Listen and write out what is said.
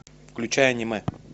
включай аниме